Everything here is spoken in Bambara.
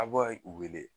A b'a u wele